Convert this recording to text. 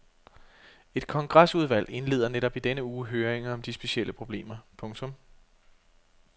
Et kongresudvalg indleder netop i denne uge høringer om de specielle problemer. punktum